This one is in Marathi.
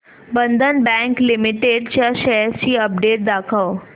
बंधन बँक लिमिटेड च्या शेअर्स ची अपडेट दाखव